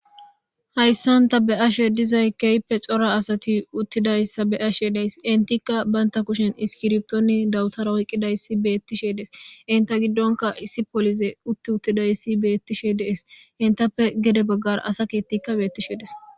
Hayssanta be'ashe dizay keype cora asati uttidayssa be'ashe days intikka baynta kushen iskirbtoni dawutar oyqqidayssi beettishe dees inta giddonka issi poolize utti uttidayssi beettishe dees intappe gede baggar asa keettikka beettishe des.